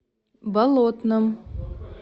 болотном